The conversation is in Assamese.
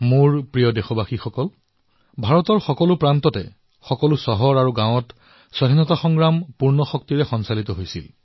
মোৰ মৰমৰ দেশবাসীসকল ভাৰতৰ প্ৰতিটো প্ৰান্তত প্ৰতিখন চহৰত প্ৰতিটো চুবুৰী আৰু গাঁৱত স্বাধীনতাৰ যুদ্ধ সম্পূৰ্ণ শক্তিৰে কৰা হৈছিল